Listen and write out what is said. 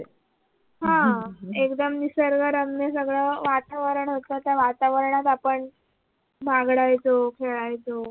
ह एकदम निसर्गरम्य सगळ वातावरण होत त्या वातावरणात आपण बागडायचो खेळायचो.